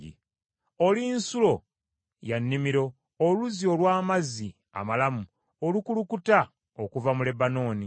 Oli nsulo ya nnimiro, oluzzi olw’amazzi amalamu, olukulukuta okuva mu Lebanooni.